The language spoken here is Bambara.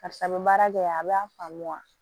Karisa bɛ baara kɛ a b'a faamu wa